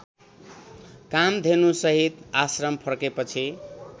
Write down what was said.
कामधेनुसहित आश्रम फर्केपछि